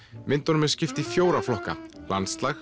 myndunum er skipt í fjóra flokka landslag